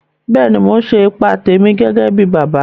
Bẹ́ẹ̀ni, Mò n ṣe ìpà tèmi gẹ́gẹ̀ bí bàbá